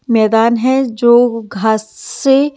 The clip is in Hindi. मैदान हैजो घास्स से--